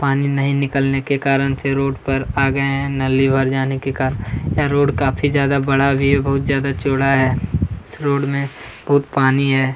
पानी नहीं निकलने के कारण से रोड पर आ गए हैं नाली भर जाने के कारण यह रोड काफी ज्यादा बड़ा भी बहुत ज्यादा चौड़ा है इस रोड में बहुत पानी है।